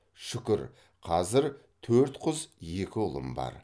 шүкір қазір төрт қыз екі ұлым бар